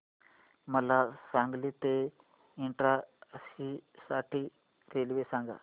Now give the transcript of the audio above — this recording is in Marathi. मला सांगली ते इटारसी साठी रेल्वे सांगा